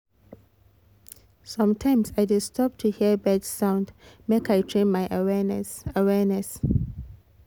sometimes i dey stop to hear bird sound make i train my awareness awareness